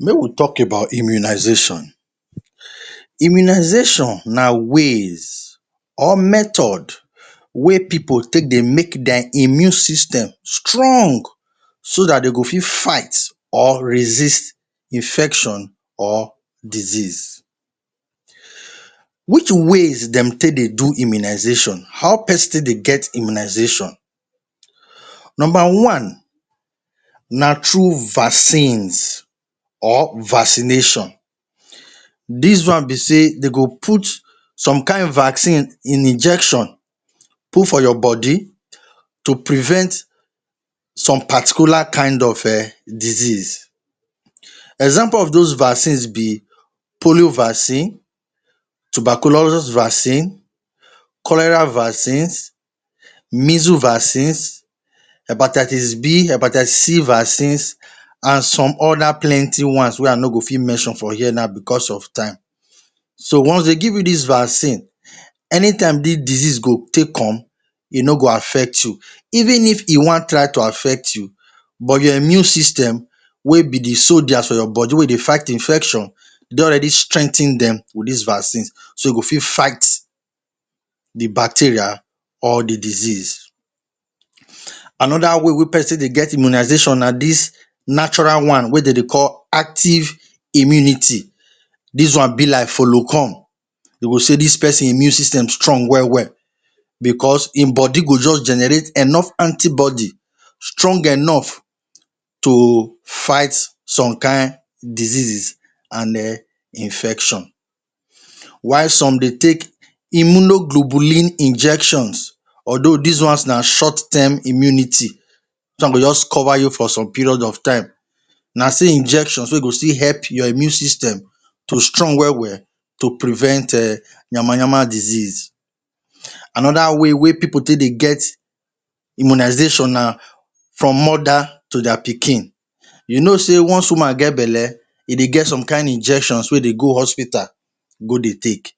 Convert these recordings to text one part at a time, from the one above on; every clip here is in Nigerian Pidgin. Make we talk about immunization. Immunization na ways or method wey pipu take dey make dia immune system strong so dat de go fit fight or resist infection or disease. Which ways dem take dey do immunization? How peson take dey get immunization? Nomba one na through vaccines or vaccination. Dis one be sey de go put some kain vaccine in injection put for your body to prevent some particular kain of um disease. Example of dos vaccines be polio vaccine, tuberculos vaccine, cholera vaccines, measle vaccines, hepatitis B, hepatitis C vaccines, an some other plenty ones wey I no go fit mention for here now becos of time. So, once de give you dis vaccine, anytime dis disease go take come, e no go affect you. Even if e wan try to affect you, but your immune system wey be the soldiers for your body wey dey fight infection, you don already strengthen dem with dis vaccines so e go fit fight the bacteria or the disease. Another way wey peson dey get immunization na dis natural one wey de dey call active immunity. Dis one be like follow-come. De go say dis peson immune system strong well-well becos ein body go juz generate enough antibody strong enough to fight some kain diseases an um infection. While some dey take immunoglobulin injections although dis ones na short term immunity. Dis one go juz cover you for some period of time. Na still injections wey go still help your immune system to strong well-well to prevent um yamayama disease. Another way wey pipu take dey get immunization na from mother to dia pikin. You know sey once woman get belle, e dey get some kain injections wey dey go hospital go dey take.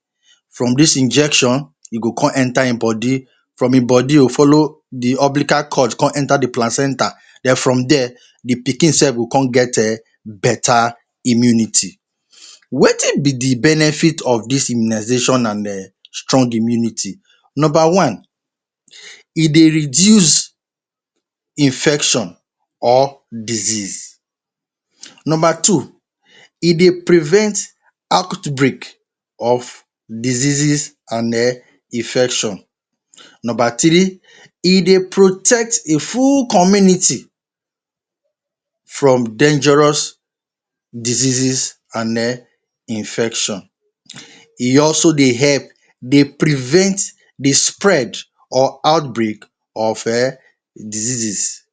From dis injection, e go con enter ein body. From ein body, e go follow the umbilical cord con enter the placenta. Then from there, the pikin sef go con get um beta immunity. Wetin be the benefit of dis immunization an um strong immunity? Nomba one, e dey reduce infection or disease. Nomba two, e dey prevent outbreak of diseases an um imfection Nomba three, e dey protect e full community from dangerous disease an um infection. E also dey help dey prevent the spread or outbreak of um diseases.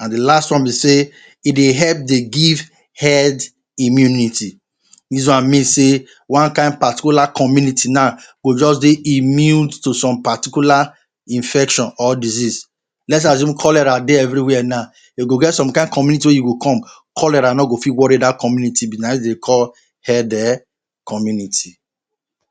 An the last one be sey e dey help dey give head immunity. Dis one mean sey one kain particular community now go juz dey immune to some particular infection or disease. Let's assume cholera dey everywhere now, e go get some kain community wey you go come, cholera no go fit worry dat community be. Na ein de dey call head um community.